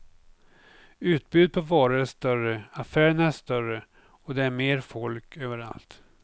Utbudet på varor är större, affärerna är större och det är mer folk överallt.